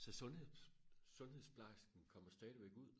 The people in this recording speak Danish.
så sundshed sundhedsplejersken kommer stadigvæk ud